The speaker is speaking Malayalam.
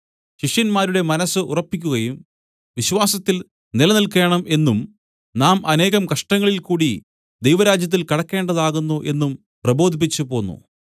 ശിഷ്യന്മാരുടെ മനസ്സ് ഉറപ്പിക്കുകയും വിശ്വാസത്തിൽ നില നിൽക്കേണം എന്നും നാം അനേകം കഷ്ടങ്ങളിൽ കൂടി ദൈവരാജ്യത്തിൽ കടക്കേണ്ടതാകുന്നു എന്നും പ്രബോധിപ്പിച്ചു പോന്നു